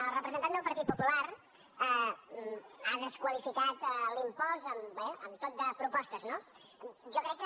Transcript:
el representant del partit popular ha desqualificat l’impost amb tot de propostes no jo crec que